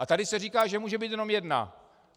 A tady se říká, že může být jenom jedna.